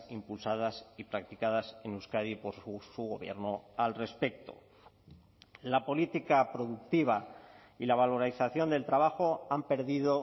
impulsadas y practicadas en euskadi por su gobierno al respecto la política productiva y la valorización del trabajo han perdido